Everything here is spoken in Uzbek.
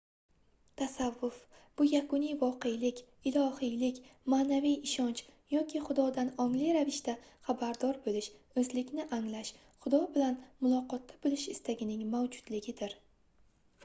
tasavvuf bu yakuniy voqelik ilohiylik maʼnaviy ishonch yoki xudodan ongli ravishda xabardor boʻlish oʻzlikni anglash xudo bilan muloqotda boʻlish istagining mavjudligidir